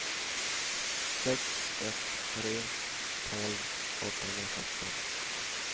sex ett två tre tolv åttahundrasjutton